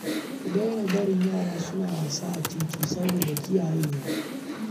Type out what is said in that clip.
Ku daina barin yara suna wasa a titi saboda kiyayewa